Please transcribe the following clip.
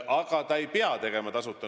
Aga seda ei pea pakkuma tasuta.